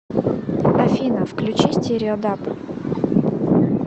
афина включи стерео даб